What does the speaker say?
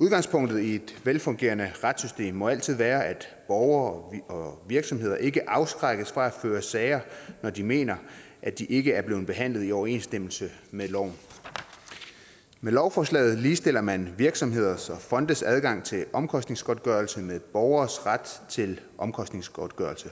udgangspunktet i et velfungerende retssystem må altid være at borgere og virksomheder ikke afskrækkes fra at føre sager når de mener at de ikke er blevet behandlet i overensstemmelse med loven med lovforslaget ligestiller man virksomheders og fondes adgang til omkostningsgodtgørelse med borgeres ret til omkostningsgodtgørelse